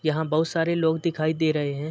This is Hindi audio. यहाँ बहु सारे लोग दिखाई दे रहे हैं।